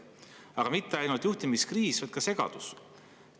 Aga ei ole mitte ainult juhtimiskriis, on ka segadus.